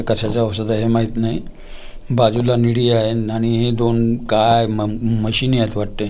कशाचं औषध आहे हे माहित नाही बाजूला निडी आहे आणि हे दोन गाय म म्हशीनी आहेत वाटतंय आणि--